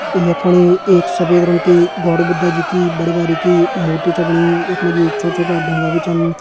यख फणि एक सफेद रंग की गॉड बुद्ध जी की बड़ी भारी की मूर्ति छ बनी यख मा जी छोटा-छोटा ढ़ूंगा भी छन।